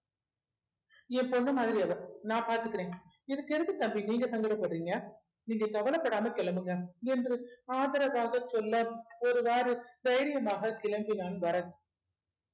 என் பொண்ணு மாதிரி அவ நான் பாத்துக்குறேன் இதுக்கு எதுக்கு தம்பி நீங்க சங்கடப்படுறீங்க நீங்க கவலைப்படாம கெளம்புங்க என்று ஆதரவாக சொல்ல ஒரு வாரு தைரியமாக கிளம்பினான் பரத்